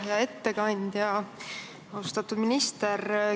Hea ettekandja, austatud minister!